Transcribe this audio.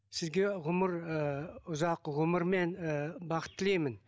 сізге ғұмыр ыыы ұзақ ғұмыр мен ы бақыт тілеймін